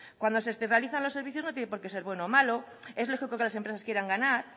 cuando se externalizan los servicios no tiene porqué ser bueno o malo es lógico que las empresas quieran ganar